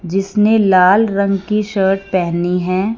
जिसने लाल रंग की शर्ट पहनी है।